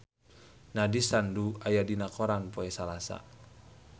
Nandish Sandhu aya dina koran poe Salasa